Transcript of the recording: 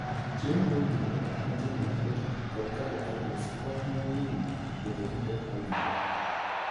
Chiemo mowinjore moting'o mafuta kod carbohydrates konyo winy bedo gi pek mowinjore.